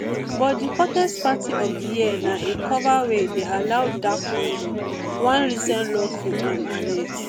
but di hottest party of di year na a cover wey dey allow dark conduct one recent lawsuit um allege